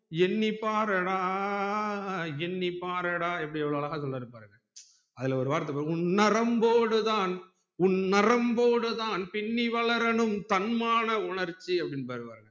எண்ணி பாரடா எண்ணி பாரடா எப்படி எவ்ளோ அழகா சொல்றாரு பாருங்கஅதுல ஒரு வார்த்த பாரு உன் நரம்போடு தான் உன் நரம்போடு தான் பின்னி வளரனும் தன்மான உணர்ச்சி அப்டின்பாருங்க